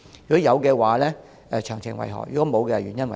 如有，詳情為何；如否，原因為何？